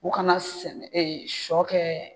U kana sɛnɛ sɔ kɛ